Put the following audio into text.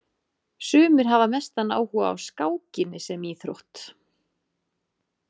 Sumir hafa mestan áhuga á skákinni sem íþrótt.